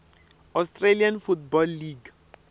australian football league